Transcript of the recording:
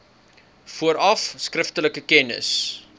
vooraf skriftelik kennis